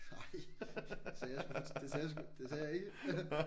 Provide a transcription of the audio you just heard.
Ej sagde jeg sgu det sagde jeg sgu det sagde jeg ikke